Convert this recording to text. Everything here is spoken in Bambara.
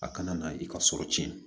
A kana na i ka sɔrɔ tiɲɛna